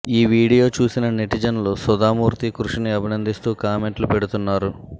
ఈ వీడియో చూసిన నెటిజన్లు సుధామూర్తి కృషిని అభినందిస్తూ కామెంట్లు పెడుతున్నారు